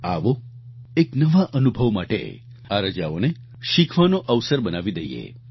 આવો એક નવા અનુભવ માટે આ રજાઓને શીખવાનો અવસર બનાવી દઈએ